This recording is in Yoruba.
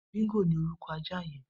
Bingó ni órùkọ̀ àjá yẹ̀n